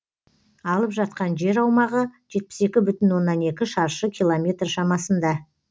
алып жатқан жер аумағы жетпіс екі бүтін оннан екі шаршы километр шамасында